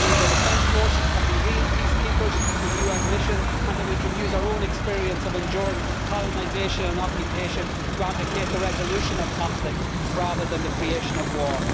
It means our defence forces can be real peacekeepers in UN missions and that we can use our own experience of enduring colonisation and occupation to advocate the resolution of conflict rather than the creation of war.